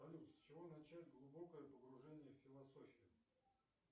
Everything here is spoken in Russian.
салют с чего начать глубокое погружение в философию